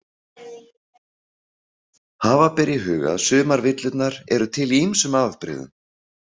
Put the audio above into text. Hafa ber í huga að sumar villurnar eru til í ýmsum afbrigðum.